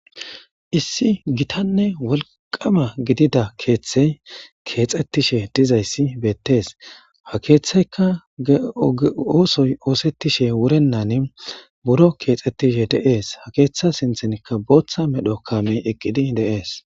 Issi gitanne wolqama gidida kethey kexetishe dizays betes. Ha kethayka oothoy othetishe wuronta buro kexetishe de'es . Ha keetha sinthanka bootha medho kamey eqid de'es.